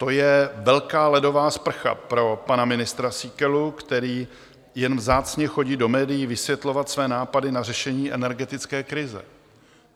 To je velká ledová sprcha pro pana ministra Síkelu, který jen vzácně chodí do médií vysvětlovat své nápady na řešení energetické krize.